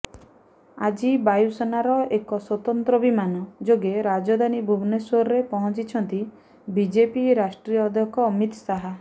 ଆଜି ବାୟୁସେନାର ଏକ ସ୍ୱତନ୍ତ୍ର ବିମାନ ଯୋଗେ ରାଜଧାନୀ ଭୁବନେଶ୍ୱରରେ ପହଞ୍ଚିଛନ୍ତି ବିଜେପି ରାଷ୍ଟ୍ରିୟ ଅଧ୍ୟକ୍ଷ ଅମିତ୍ ଶାହା